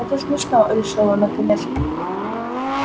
это смешно решил он наконец